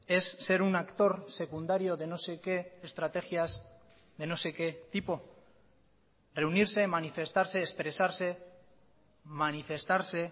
es ser un actor secundario de no sé qué estrategias de no sé que tipo reunirse manifestarse expresarse manifestarse